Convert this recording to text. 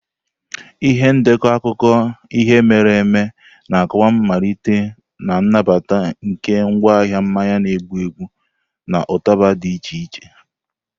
Ihe ndekọ akụkọ ihe mere eme na-akọwa mmalite na nnabata nke ngwaahịa mmanya na-egbu egbu na ụtaba dị iche iche.